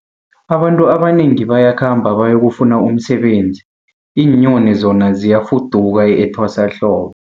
Abantu abanengi bayakhamba bayokufuna umsebenzi, iinyoni zona ziyafuduka etwasahlobo.